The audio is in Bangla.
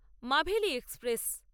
মাভেলি এক্সপ্রেস